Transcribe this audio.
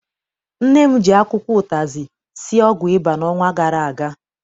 Nne m ji akwụkwọ ụtazị sie ọgwụ ịba n'ọnwa gara aga.